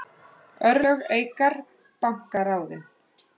Örlög Eikar banka ráðin